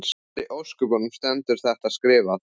Hvar í ósköpunum stendur þetta skrifað?